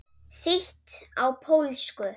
Þýtt á pólsku.